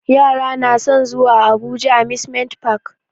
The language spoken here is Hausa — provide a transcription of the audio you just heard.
Yara na san zuwa abuja amusement park